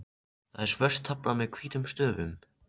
Þetta er svört tafla með hvítum stöfum.